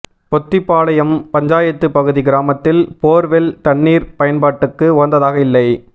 பொத்திபாளையம் பஞ்சாயத்து பகுதி கிராமத்தில் போர்வெல் தண்ணீர் பயன்பாட்டுக்கு உகந்ததாக இல்லை